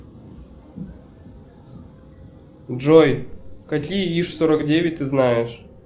джой какие иж сорок девять ты знаешь